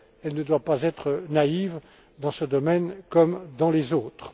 elle ne doit pas être naïve dans ce domaine comme dans les autres.